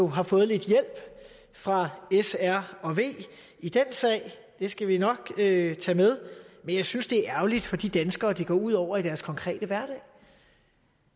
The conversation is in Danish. har fået lidt hjælp fra s r og v i den sag det skal vi nok tage med men jeg synes det er ærgerligt for de danskere det går ud over i deres konkrete hverdag og